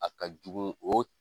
A ka jugu o